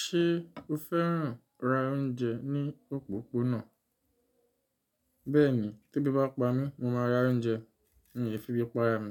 Ṣé o fẹ́ràn ra oúnjẹ ní òpópónà? Bẹ́ẹ̀ni, tó bí bá pa mí, mo máa ra oúnjẹ. N ò le fi bíi pa enu